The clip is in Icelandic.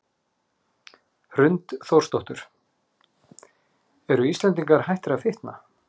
Hrund Þórsdóttir: Eru Íslendingar hættir að fitna?